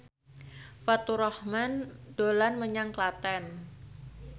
Faturrahman dolan menyang Klaten